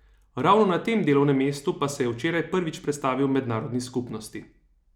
Ravno na tem delovnem mestu pa se je včeraj prvič predstavil mednarodni skupnosti.